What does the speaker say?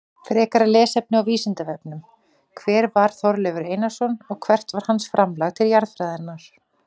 Frekara lesefni á Vísindavefnum: Hver var Þorleifur Einarsson og hvert var hans framlag til jarðfræðinnar?